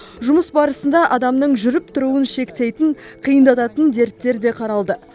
жұмыс барысында адамның жүріп тұруын шектейтін қиындататын дерттер де қаралды